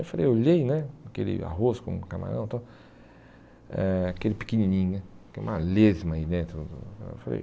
Eu falei olhei né, aquele arroz com camarão tal, eh aquele pequenininho né, que é uma lesma aí dentro.